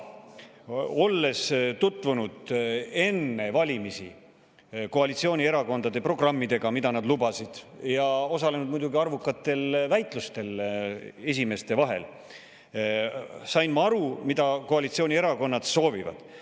Olles tutvunud enne valimisi koalitsioonierakondade programmidega ja, mida nad lubasid, ning osalenud arvukatel väitlustel esimeeste vahel, sain ma aru, mida koalitsioonierakonnad soovivad.